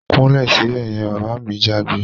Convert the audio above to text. Kúnlẹ̀ sibẹ̀ yen! Bàbá mi jágbe